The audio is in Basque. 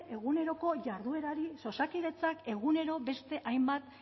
eguneroko jarduerari osakidetzak egunero beste hainbat